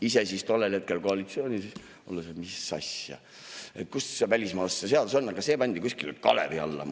Ise olin tollel hetkel koalitsioonis,, et mis asja, kuskil see välismaalaste seadus on, aga see pandi kuskile kalevi alla.